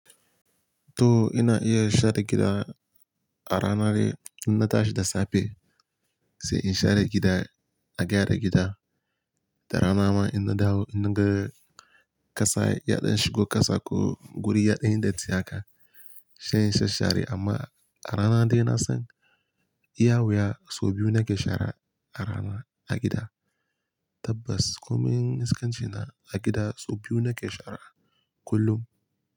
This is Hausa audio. To ina iya share gida a rana dai, inna tashi da safe sai in share gida, a gyara gida, da rana ma inna dawo inna ga kasa yaɗan shigo kasa ko guri yaɗanyi datti haka, sai in sha share amma a rana dai na son iya wuya sau biyu nake shara a rana a gida. Tabbas komaiin iskanci na a gida sau biyu nake share kullum.